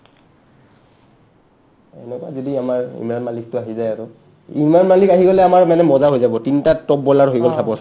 এনেকা যদি আমাৰ ইমৰাণ মাল্লিকটো আহি যাই আৰু ইমৰাণ মাল্লিক আহি গ'লে আমাৰ মানে মজা হৈ হ'ব তিনটা top bowler হৈ গ'ল suppose